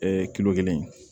kilo kelen